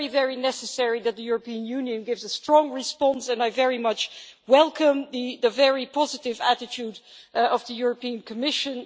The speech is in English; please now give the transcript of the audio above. It is very necessary that the European Union gives a strong response, and I very much welcome the very positive attitude of the European Commission.